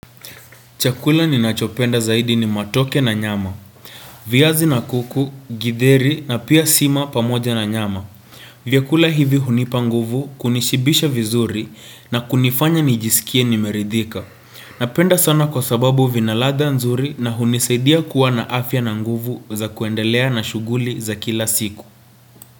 Chakula ninachopenda zaidi ni matoke na nyama. Viazi na kuku, githeri na pia sima pamoja na nyama. Vyakula hivi hunipa nguvu kunishibisha vizuri na kunifanya nijisikie nimeridhika. Napenda sana kwa sababu vina ladha nzuri na hunisaidia kuwa na afya na nguvu za kuendelea na shughuli za kila siku.